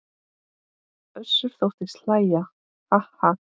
Össur þóttist hlæja:- Ha ha.